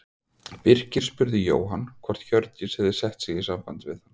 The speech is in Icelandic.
Birkir spurði Jóhann hvort Hjördís hefði sett sig í samband við hann.